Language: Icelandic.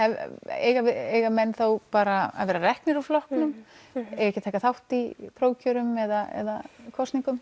eiga eiga menn þá bara að vera reknir úr flokknum eiga ekki að taka þátt í prófkjörum eða kosningum